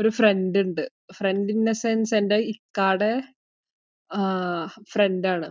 ഒരു friend ഉണ്ട്. friend in the sense എന്റെ ഇക്കാന്റെ friend ആണ്.